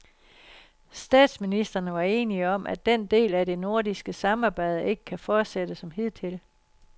Statsministrene var enige om, at den del af det nordiske samarbejde ikke kan fortsætte som hidtil.